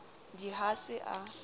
d i ha se a